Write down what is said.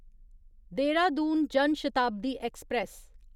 Dehradun Jan Shatabdi express